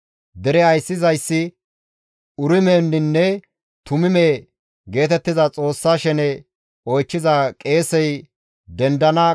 Hessa malan di7eteththafe simmida asata tayboy issi bolla 42,360.